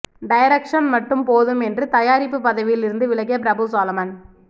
direction மட்டும் போதும் என்று தயாரிப்பு பதவியில் இருந்து விலகிய பிரபுசாலமன்